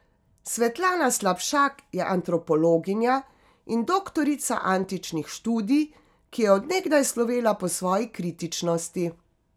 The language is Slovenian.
Svetlana Slapšak je antropologinja in doktorica antičnih študij, ki je od nekdaj slovela po svoji kritičnosti.